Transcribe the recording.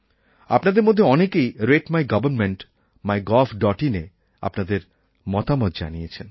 আপনাদের মধ্যে অনেকেই রাতে মাই Governmentmygovinএ আপনাদের মতামত জানিয়েছেন